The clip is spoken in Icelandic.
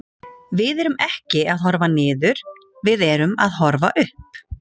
Við erum ekki að horfa niður, við erum að horfa upp.